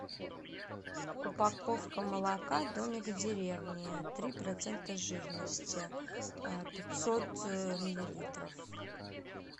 упаковка молока домик в деревне три процента жирности пятьсот миллилитров